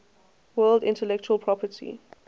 world intellectual property